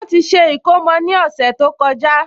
Wọ́n ti ṣe ìkómọ ní ọ̀sẹ̀ tó kọjá